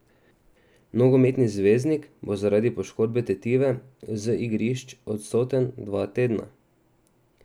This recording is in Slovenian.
Nogometni zvezdnik bo zaradi poškodbe tetive z igrišč odsoten dva tedna.